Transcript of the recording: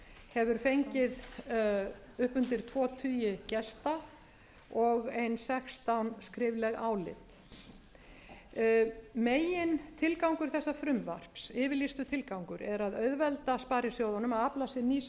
hefur fengið upp undir tvo tugi gesta og ein sextán skrifleg álit megintilgangur þessa frumvarps yfirlýstur tilgangur er að auðvelda sparisjóðunum að afla sér